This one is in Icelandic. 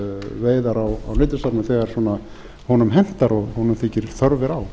veiðar á nytjastofnum þegar honum hentar og honum þykir þörf vera á